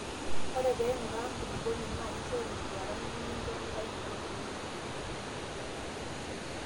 Ore pee inguraa enkulupuoni naa kishoru enduaran nikicho tayiolo eneteu